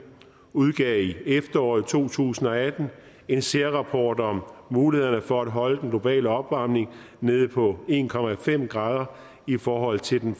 udgav i efteråret to tusind og atten en særrapport om mulighederne for at holde den globale opvarmning nede på en grader en grader i forhold til den